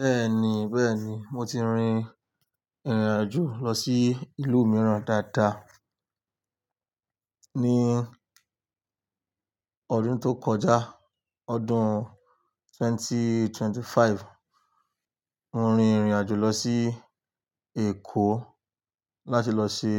Bẹ́ẹ̀ni, bẹ́ẹ̀ni, mo ti rin ìrìnàjò lọ sí ìlú mìíràn dáadáa. Ní ọdún tó kọjá, ọdún 2025, mo rin ìrìnàjò lọ sí Èkó láti lọ ṣe